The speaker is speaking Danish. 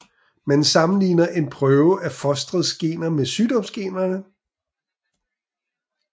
Man sammenligner en prøve af fosterets gener med sygdomsgenerne